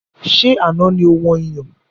Ṣé Àná ni ó wọn iyọ̀?